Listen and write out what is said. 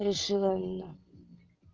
решила она